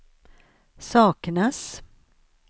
saknas